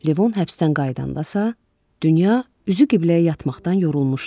Levon həbsdən qaydandasa, dünya üzü qibləyə yatmaqdan yorulmuşdu.